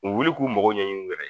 U bɛ wuli k'u magɔ ɲɛ ɲini u yɛrɛ ye!